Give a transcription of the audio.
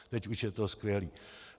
Teď už je to skvělý.